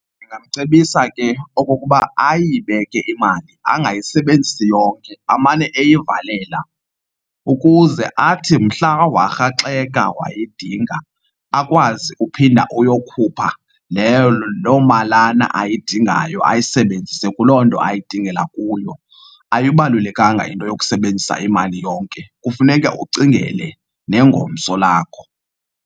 Ndingamcebisa ke okokuba ayibeke imali. Angayisebenzisi yonke, amane eyivalela, ukuze athi mhla warhaxeka wayidinga, akwazi uphinda uyokhupha leyo loo malana ayidingayo ayisebenzise kuloo nto ayidingela kuyo. Ayibalulekanga into yokusebenzisa imali yonke, kufuneka ucingele nengomso lakho.